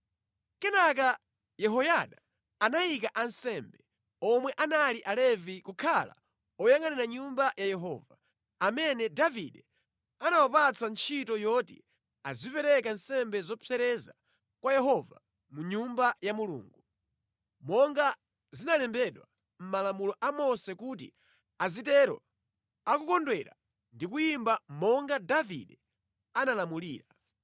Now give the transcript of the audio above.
Kenaka Yehoyada anayika ansembe, omwe anali Alevi kukhala oyangʼanira Nyumba ya Yehova, amene Davide anawapatsa ntchito yoti azipereka nsembe zopsereza kwa Yehova mʼNyumba ya Mulungu, monga zinalembedwa mʼmalamulo a Mose kuti azitero akukondwera ndi kuyimba monga Davide analamulira.